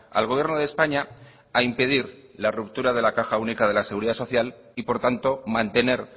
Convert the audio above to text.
al gobierno de españa a impedir la ruptura de la caja única de la seguridad social y por tanto mantener